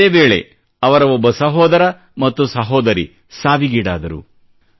ಇದೇ ವೇಳೆ ಅವರ ಒಬ್ಬ ಸಹೋದರ ಮತ್ತು ಸಹೋದರಿ ಸಾವೀಗೀಡಾದರು